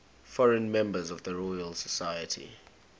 foreign members of the royal society